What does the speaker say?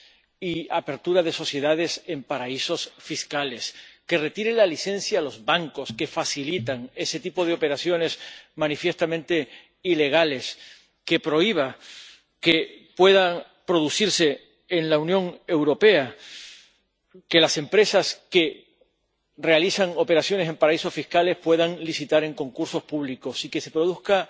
y la apertura de sociedades en paraísos fiscales, que retire la licencia a los bancos que facilitan ese tipo de operaciones manifiestamente ilegales, que prohíba que pueda producirse en la Unión Europea que las empresas que realizan operaciones en paraísos fiscales puedan licitar en concursos públicos y que se produzca